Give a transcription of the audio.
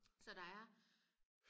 så der er